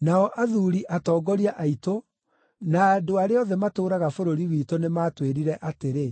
Nao athuuri atongoria aitũ na andũ arĩa othe matũũraga bũrũri witũ nĩmatwĩrire atĩrĩ,